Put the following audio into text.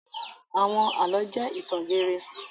Àwọn àlọ́ jẹ́ ìtàn geere.